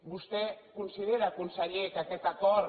vostè considera conseller que aquest acord